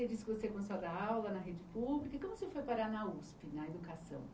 Aí você começou a dar aula na rede pública E como você foi parar na Usp, na educação?